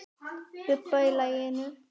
Bubba í laginu.